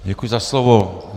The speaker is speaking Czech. Děkuji za slovo.